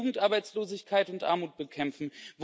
Wollen wir Jugendarbeitslosigkeit und Armut bekämpfen?